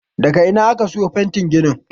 daga Ina aka siyo fetin gini